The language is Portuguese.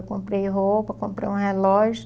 Eu comprei roupa, comprei um relógio.